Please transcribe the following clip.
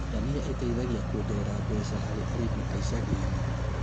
Ndania iteithagia kuongerera meca harĩ arĩmi a icagi-inĩ